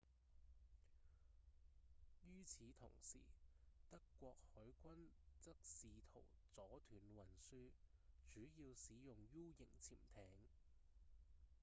於此同時德國海軍則試圖阻斷運輸主要使用 u 型潛艇